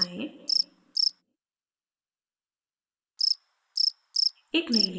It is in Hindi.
stroke हटायें